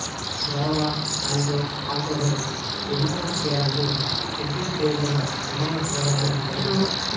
Brava శాంటో ఆంటోలో విమానాశ్రయాలన్నీ షెడ్యూల్ చేయబడిన విమాన సేవలను కలిగి ఉంటాయి